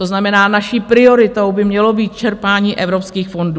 To znamená, naší prioritou by mělo být čerpání evropských fondů.